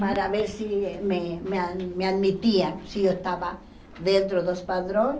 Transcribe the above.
Para ver se me me a me admitiam, se eu estava dentro dos padrões.